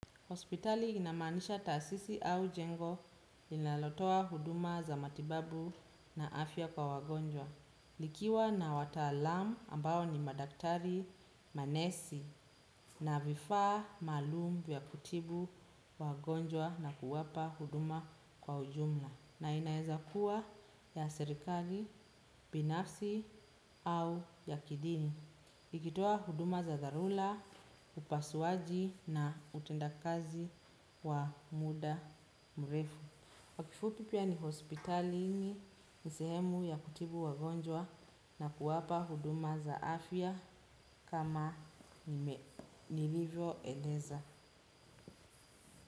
Hospitali inamaanisha tasisi au jengo linalotoa huduma za matibabu na afya kwa wagonjwa. Likiwa na wataalam ambao ni madaktari manesi na vifaa maalum vya kutibu wagonjwa na kuwapa huduma kwa ujumla. Na inaweza kuwa ya serikali, binafsi au ya kidini. Ikitoa huduma za dharula, upasuaji na utenda kazi wa muda mrefu. Kwa kifupi pia ni hospitalini ni sehemu ya kutibu wagonjwa na kuwapa huduma za afya kama nilivyoeleza.